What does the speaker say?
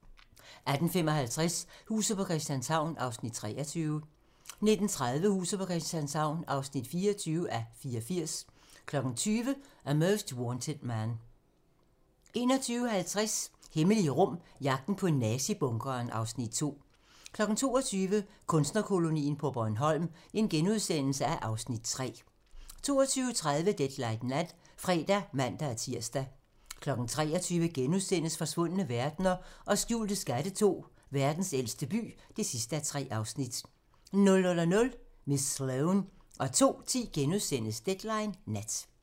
18:55: Huset på Christianshavn (23:84) 19:30: Huset på Christianshavn (24:84) 20:00: A Most Wanted Man 21:50: Hemmelige rum: Jagten på nazi-bunkeren (Afs. 2) 22:00: Kunstnerkolonien på Bornholm (Afs. 3)* 22:30: Deadline Nat (fre og man-tir) 23:00: Forsvundne verdener og skjulte skatte II: Verdens ældste by (3:3)* 00:00: Miss Sloane 02:10: Deadline Nat *